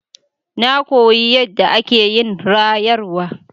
Na koyi yadda ake yin rayarwa.